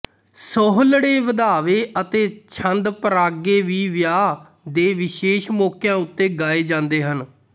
ਸੋਹਲੜੇ ਵਧਾਵੇ ਅਤੇ ਛੰਦ ਪਰਾਗੇ ਵੀ ਵਿਆਹ ਦੇ ਵਿਸ਼ੇਸ਼ ਮੌਕਿਆਂ ਉਤੇ ਗਾਏ ਜਾਂਦੇ ਹਨ